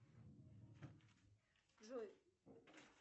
джой